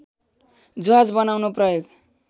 जहाज बनाउन प्रयोग